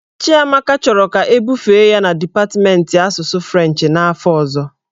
Chiamaka chọrọ ka ebufe ya na dipatmentị asụsụ Frenchị n'afọ ọzọ.